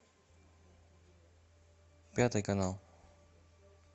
пятый канал